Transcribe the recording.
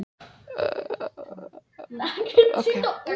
Hennar eigin spegilmynd.